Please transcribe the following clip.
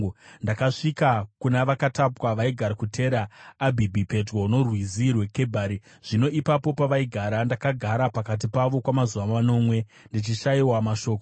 Ndakasvika kuna vakatapwa vaigara kuTera Abhibhi pedyo noRwizi rweKebhari. Zvino ipapo pavaigara, ndakagara pakati pavo kwamazuva manomwe, ndichishayiwa mashoko.